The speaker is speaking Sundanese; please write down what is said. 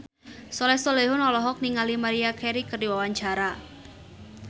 Soleh Solihun olohok ningali Maria Carey keur diwawancara